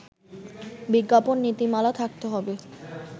বিজ্ঞাপন নীতিমালা থাকতে হবে